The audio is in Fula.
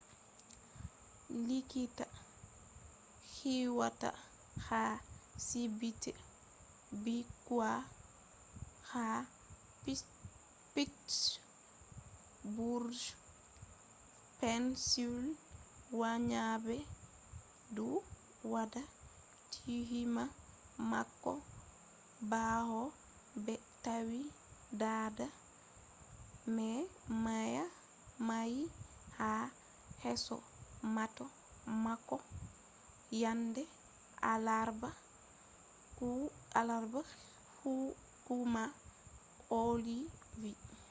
likita huwata ha sibiti bikkoi ha pittsburgh pennsylvania be du wada tuhuma mako bawo be tawi dada mai mayi ha yeso mota mako yande alarba ,hukuma ohio vi